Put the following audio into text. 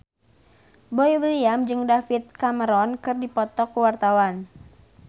Boy William jeung David Cameron keur dipoto ku wartawan